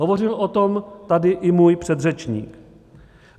Hovořil o tom tady i můj předřečník.